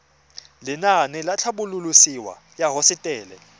lenaane la tlhabololosewa ya hosetele